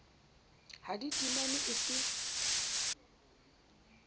ha di timanwe e se